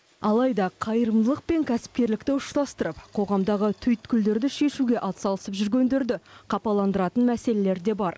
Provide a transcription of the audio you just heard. алайда қайырымдылық пен кәсіпкерлікті ұштастырып қоғамдағы түйткілдерді шешуге атсалысып жүргендерді қапаландыратын мәселелер де бар